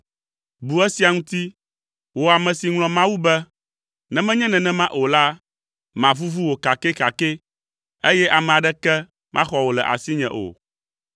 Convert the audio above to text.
“Bu esia ŋuti, wò ame si ŋlɔ Mawu be, ne menye nenema o la, mavuvu wò kakɛkakɛ, eye ame aɖeke maxɔ wò le asinye o.